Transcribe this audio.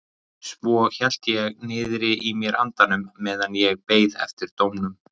Svo hélt ég niðri í mér andanum meðan ég beið eftir dómnum.